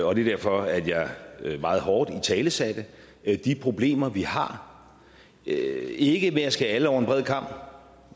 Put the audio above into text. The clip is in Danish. og det er derfor at jeg meget hårdt italesatte de problemer vi har ikke ikke ved at skære alle over én kam